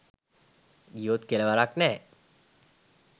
ගියොත් කෙලවරක් නැ